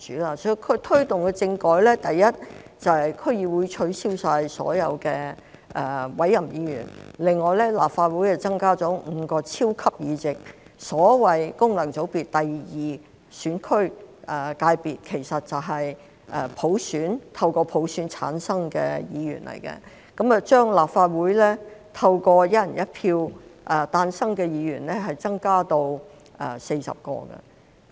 所以，他推動政改的第一點，就是取消區議會所有委任議員，另外在立法會增加了5個超級議席，即區議會功能界別，其實就是透過普選產生的議員，並把立法會透過"一人一票"誕生的議員增加至40位。